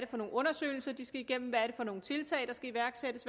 for nogle undersøgelser de skal igennem hvad det er for nogle tiltag der skal iværksættes